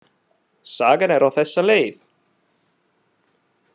Sagan er á þessa leið: